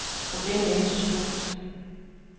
Problemet er ikke så stort.